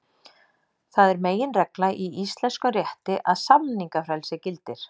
Það er meginregla í íslenskum rétti að samningafrelsi gildir.